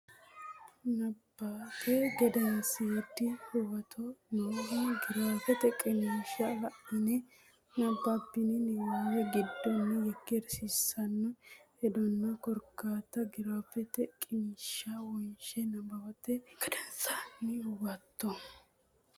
Nabbawate Gedensiidi Huwato nooha giraafete qiniishsha la ine nabbabbini niwaawe giddonni yekkeersiissanno hedonna korkaatta giraafete qiniishshi wonshe Nabbawate Gedensiidi Huwato.